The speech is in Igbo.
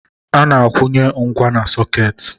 A-na akwụnye ngwa na-sọketị.